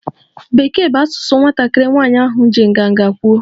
Bekee bụ asụsụ m, nwatakịrị nwanyị ahụ ji nganga kwuo